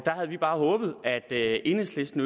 havde vi bare håbet at at enhedslisten